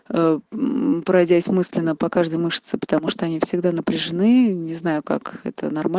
а м пройдясь мысленно по каждой мышцы потому что они всегда напряжены не знаю как это норма